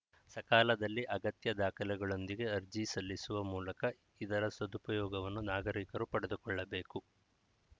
ಸಕಾಲದಲ್ಲಿ ಅಗತ್ಯ ದಾಖಲೆಗಳೊಂದಿಗೆ ಅರ್ಜಿಸಲ್ಲಿಸುವ ಮೂಲಕ ಇದರ ಸದುಪಯೋಗವನ್ನು ನಾಗರಿಕರು ಪಡೆದುಕೊಳ್ಳಬೇಕು